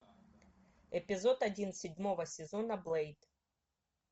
эпизод один седьмого сезона блэйд